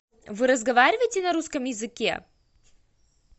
вы разговариваете на русском языке